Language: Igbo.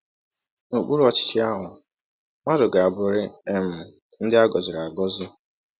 N’okpuru ọchịchị ahụ, mmadụ ga-abụrịrị um ndị um e gọziri agọzi.